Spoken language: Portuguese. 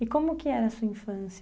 E como que era a sua infância?